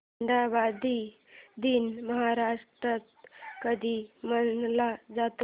हुंडाबंदी दिन महाराष्ट्रात कधी मानला जातो